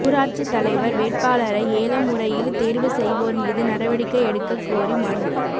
ஊராட்சித் தலைவா் வேட்பாளரை ஏலமுறையில் தோ்வு செய்வோா் மீது நடவடிக்கை எடுக்கக் கோரி மனு